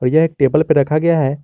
एक टेबल पर रखा गया है।